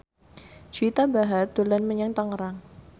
Juwita Bahar dolan menyang Tangerang